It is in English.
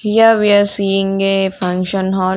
here we are seeing a function hall.